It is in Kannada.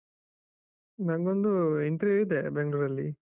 ನಂದೊಂದು interview ಇದೆ ಬೆಂಗಳೂರಲ್ಲಿ.